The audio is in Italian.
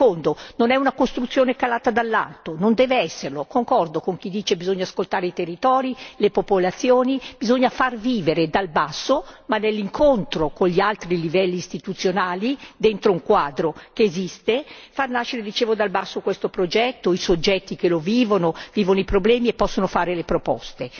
Secondo non è una costruzione calata dall'alto, non deve esserlo, concordo con chi dice che bisogna ascoltare i territori, le popolazioni, bisogna far vivere dal basso, ma nell'incontro con gli altri livelli istituzionali, dentro un quadro che esiste, far nascere dal basso questo progetto, i soggetti che lo vivono, vivono i problemi e possono fare le proposte.